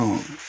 Ɔ